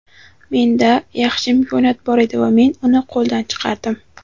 Menda yaxshi imkoniyat bor edi va men uni qo‘ldan chiqardim.